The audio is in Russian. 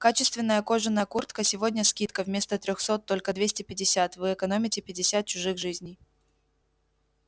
качественная кожаная куртка сегодня скидка вместо трёхсот только двести пятьдесят вы экономите пятьдесят чужих жизней